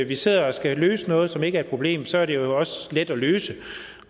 vi sidder og skal løse noget som ikke er et problem så er det jo også let at løse